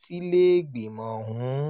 sílẹ̀ẹ́gbìmọ̀ ọ̀hún